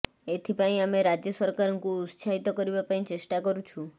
ଏଥିପାଇଁ ଆମେ ରାଜ୍ୟ ସରକାରଙ୍କୁ ଉତ୍ସାହିତ କରିବା ପାଇଁ ଚେଷ୍ଟା କରୁଛୁ